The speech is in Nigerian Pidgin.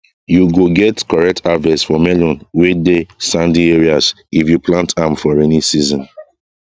you go get correct harvest for melon wey dey sandy areas if you plant am for raining season